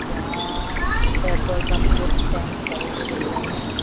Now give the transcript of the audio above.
यहां petrol pump के tank भरे हुए दिख रहे हैं।